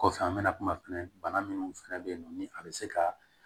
Kɔfɛ an bɛna kuma fɛnɛ bana minnu fɛnɛ be yen nɔ ni a be se ka